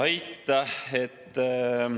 Aitäh!